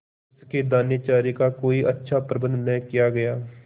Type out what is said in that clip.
उसके दानेचारे का कोई अच्छा प्रबंध न किया गया